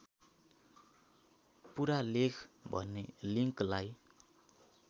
पूरालेख भन्ने लिङ्कलाई